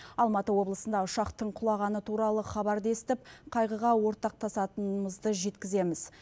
алматы облысында ұшақтың құлағаны туралы хабарды естіп қайғыға ортақтасатынымызды жеткіземіз